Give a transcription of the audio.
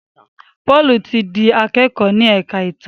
Paul tí dì akẹkọ ní èka ìtàn.